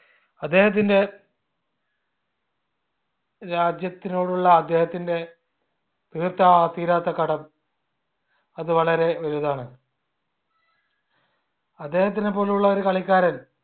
അദ്ദേഹത്തിന്റെ രാജ്യത്തിനോടുള്ള അദ്ദേഹത്തിന്റെ തീർത്ത തീരാത്ത കടം അത് വളരെ വലുതാണ് അദ്ദേഹത്തിനെപോലുള്ള ഒരു കളിക്കാരൻ